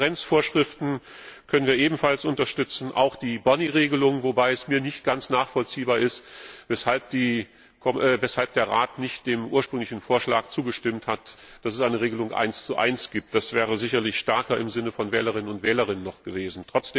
Die Transparenzvorschriften können wir ebenfalls unterstützen, auch die Boni Regelung, wobei es mir nicht ganz nachvollziehbar erscheint, weshalb der Rat nicht dem ursprünglichen Vorschlag zugestimmt hat, dass es eine Eins zu eins Regelung gibt. Das wäre sicherlich noch stärker im Sinne der Wählerinnen und Wähler gewesen.